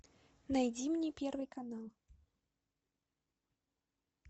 найди мне первый канал